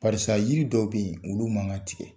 Barisa yiri dɔw bɛ yen olu man kan ka tigɛ.